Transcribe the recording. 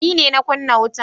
Ni ne na kunna wutan.